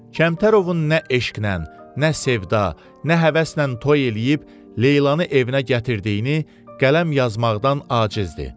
Kəmtərovun nə eşqən, nə sevda, nə həvəslə toy eləyib Leylanı evinə gətirdiyini qələm yazmaqdan acizdir.